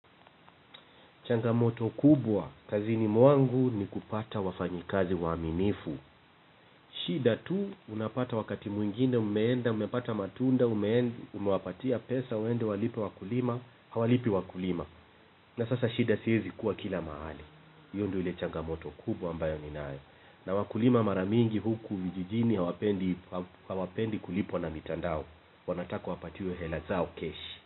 Changamoto kubwa kazini mwangu ni kupata wafanyikazi waaminifu. Shida tu unapata wakati mwingine umeenda, umepata matunda, umeenda, umewapatia pesa, waende walipe wakulima, hawalipi wakulima. Na sasa shida siezi kuwa kila mahali. Hiyo ndio ni changamoto kubwa ambayo ninayo. Na wakulima mara mingi huku vijijini hawapendi kulipwa na mitandao. Wanataka wapatiwe hela zao keshi.